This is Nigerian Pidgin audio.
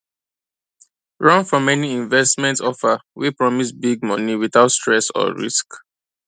run from any investment offer wey promise big money without stress or risk